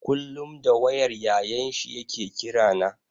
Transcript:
Kullum da wayar Yayan shi ya ke kira na.